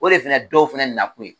O de fana dɔw fana nakun ye